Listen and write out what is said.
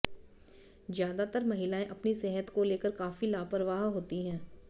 ज्यादातर महिलाएं अपनी सेहत को लेकर काफी लापरवाह होती हैं